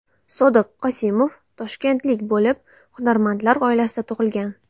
Sodiq Qosimov – toshkentlik bo‘lib, hunarmandlar oilasida tug‘ilgan.